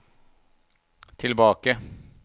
tilbake